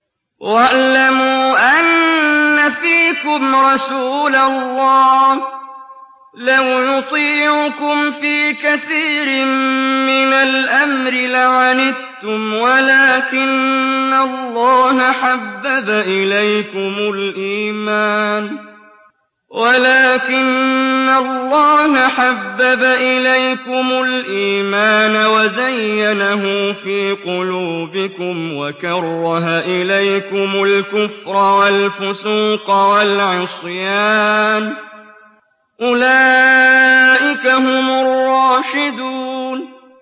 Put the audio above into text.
وَاعْلَمُوا أَنَّ فِيكُمْ رَسُولَ اللَّهِ ۚ لَوْ يُطِيعُكُمْ فِي كَثِيرٍ مِّنَ الْأَمْرِ لَعَنِتُّمْ وَلَٰكِنَّ اللَّهَ حَبَّبَ إِلَيْكُمُ الْإِيمَانَ وَزَيَّنَهُ فِي قُلُوبِكُمْ وَكَرَّهَ إِلَيْكُمُ الْكُفْرَ وَالْفُسُوقَ وَالْعِصْيَانَ ۚ أُولَٰئِكَ هُمُ الرَّاشِدُونَ